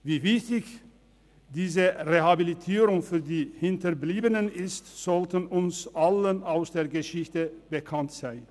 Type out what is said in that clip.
Wie wichtig diese Rehabilitierung für die Hinterbliebenen ist, sollte uns allen aus der Geschichte bekannt sein.